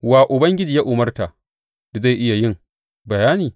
Wa Ubangiji ya umarta da zai iya yin bayani?